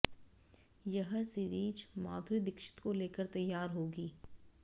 यह सीरिज माधुरी दीक्षित को लेकर तैयार होगी